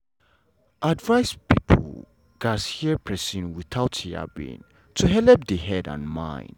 advice people gats hear persin without yabbing to helep the head and mind.